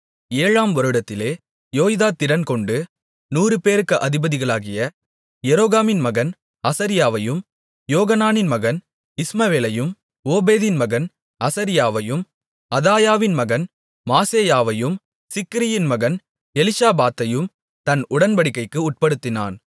ஏழாம் வருடத்திலே யோய்தா திடன்கொண்டு நூறுபேருக்கு அதிபதிகளாகிய எரோகாமின் மகன் அசரியாவையும் யோகனானின் மகன் இஸ்மவேலையும் ஓபேதின் மகன் அசரியாவையும் அதாயாவின் மகன் மாசெயாவையும் சிக்ரியின் மகன் எலிஷாபாத்தையும் தன் உடன்படிக்கைக்கு உட்படுத்தினான்